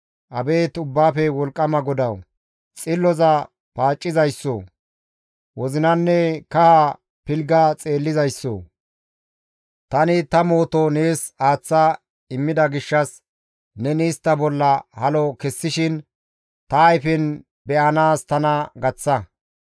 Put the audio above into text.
Abeet Ubbaafe Wolqqama GODAWU! xilloza paaccizayssoo! wozinanne kaha pilgga xeellizayssoo! tani ta mooto nees aaththa immida gishshas neni istta bolla halo kessishin ta ayfen be7anaas tana gaththa.